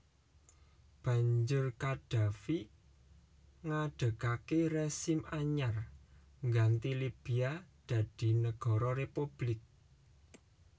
Banjur Qaddafi ngadegaké rezim anyar ngganti Libya dadi Nagara Republik